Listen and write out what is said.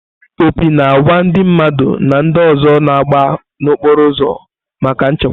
Opi na àgwà ndị mmadụ na ndị ọzọ na-agba n'okporo ụzọ maka nchekwa.